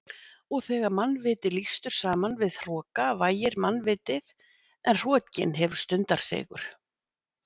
Og þegar mannviti lýstur saman við hroka vægir mannvitið en hrokinn hefur stundarsigur.